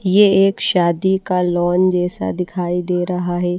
ये एक शादी का लॉन जैसा दिखाई दे रहा है।